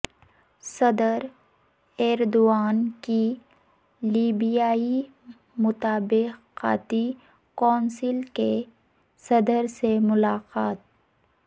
صدر ایردوان کی لیبیائی مطابقتی کونسل کے صدر سے ملاقات